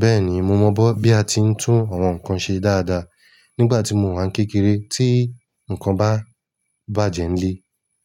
Bẹ́ẹ̀ni mo mọ bó bí a ti ń tún àwọn nǹkan ṣe dáadáa. Nígbà tí mo wà n kékeré tí nǹkan bá bàjẹ́ nílé